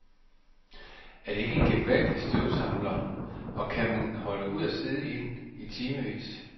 Er det ikke en gevaldig støvsamler og kan man holde ud at sidde i den, i timevis.